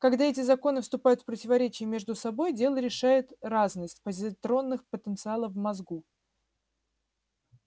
когда эти законы вступают в противоречие между собой дело решает разность позитронных потенциалов в мозгу